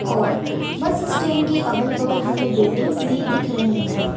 औड़ bus stand के अगल बगल हमें बिल्डिंग्स भी दिख रही हैं।